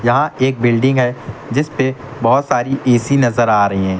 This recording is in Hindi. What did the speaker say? यहाँ एक बिल्डिंग है जीस पे बहोत सारी ए_सी नजर आ रही हैं।